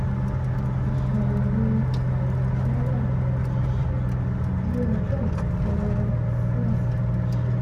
iṣàyẹ̀wò àìrò tẹ́lẹ̀ àwọn òṣìṣẹ́ yí ọjọ́ ìdákẹ́rọ́rọ́ sí àsìkò iṣẹ́